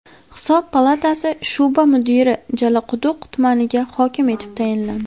Hisob palatasi shu’ba mudiri Jalaquduq tumaniga hokim etib tayinlandi.